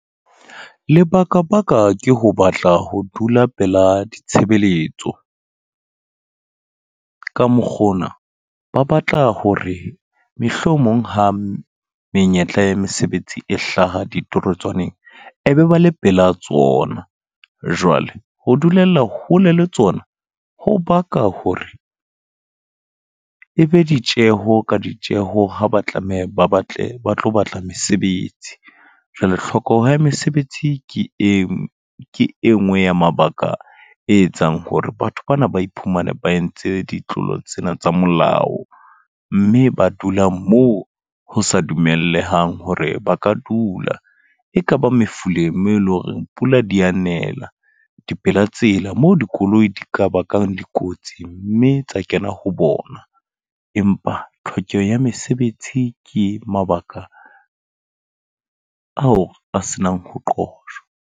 Lebaka baka ke ho batla ho dula pela ditshebeletso. Ka mokgwa ona, ba batla hore mohlomong ha menyetla ya mesebetsi e hlaha di torotswaneng. E be ba le pela tsona. Jwale ho dulella hole le tsona, ho baka hore e be ditjeho ka ditjeho ha ba tlameha ba batle ba tlo batla mesebetsi. Jwale tlhokeho ya mesebetsi ke e ke e nngwe ya mabaka e etsang hore batho bana ba iphumana ba entse ditlolo tsena tsa molao. Mme ba dulang moo ho sa dumellehang hore ba ka dula. E kaba mefuleng mo eleng hore pula di a nela. Dipela tsela, moo dikoloi di ka bakang dikotsi mme tsa kena ho bona. Empa tlhokeho ya mesebetsi ke mabaka ao a se nang ho qojwa.